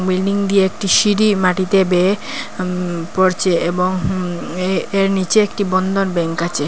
Building দিয়ে একটি সিঁড়ি মাটিতে বেয়ে উম পড়চে এবং হুম উ এ এর নীচে একটি বন্ধন ব্যাঙ্ক আচে।